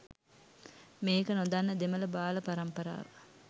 මේක නොදන්න දෙමළ බාල පරම්පරාව